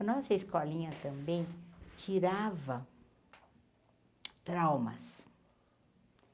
A nossa escolinha também tirava traumas.